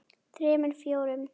þremur. fjórum.